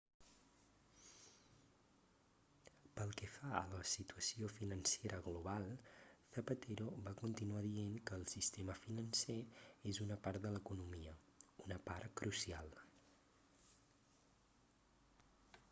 pel que fa a la situació financera global zapatero va continuar dient que el sistema financer és una part de l'economia una part crucial